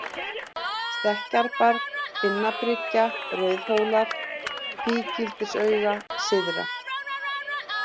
Stekkjarbjarg, Finnabryggja, Rauðhólar, Kvígildisauga syðra